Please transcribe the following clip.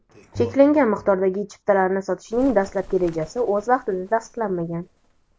cheklangan miqdordagi chiptalarni sotishning dastlabki rejasi o‘z vaqtida tasdiqlanmagan.